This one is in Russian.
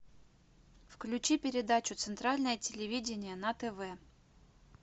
включи передачу центральное телевидение на тв